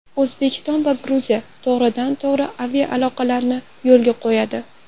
O‘zbekiston va Gruziya to‘g‘ridan-to‘g‘ri aviaaloqani yo‘lga qo‘yadi.